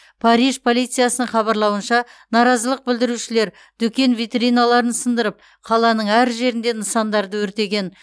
париж полициясының хабарлауынша наразылық білдірушілер дүкен витриналарын сындырып қаланың әр жерінде нысандарды өртеген